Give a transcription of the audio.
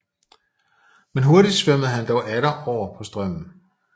Men hurtig svømmede han dog atter oven på strømmen